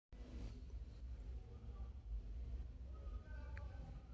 הדבר מספק לנו מידע וחומר רבים הדרושים לבניית מודלים מדמים אשר עוזרים לנו להבין תהליכים בתודעה שלנו